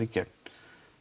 í gegn